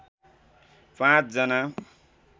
पाँच जना